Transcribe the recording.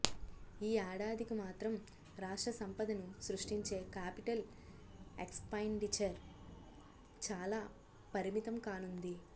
ఈ ఏడాదికి మాత్రం రాష్ట్ర సంపదను సృష్టించే కాపిటల్ ఎక్స్పెండిచర్ చాలా పరిమితం కానుంది